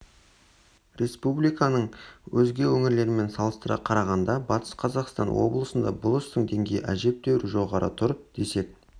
республиканың өзге өңірлерімен салыстыра қарағанда батыс қазақстан облысында бұл істің деңгейі әжептәуір жоғары тұр десек